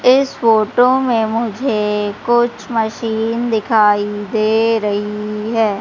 इस फोटो में मुझे कुछ मशीन दिखाई दे रही है।